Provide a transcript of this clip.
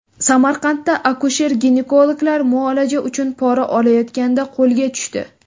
Samarqandda akusher-ginekologlar muolaja uchun pora olayotganda qo‘lga tushdi .